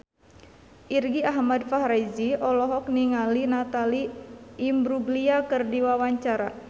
Irgi Ahmad Fahrezi olohok ningali Natalie Imbruglia keur diwawancara